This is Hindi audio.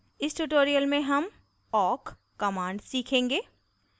इस tutorial में हम awk command सीखेंगे